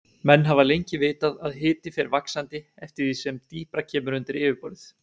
Menn hafa lengi vitað að hiti fer vaxandi eftir því sem dýpra kemur undir yfirborðið.